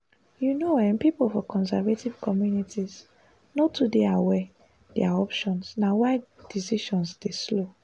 you know ehhn pipo for conservative communities no too dey aware their options na why decisions dey slow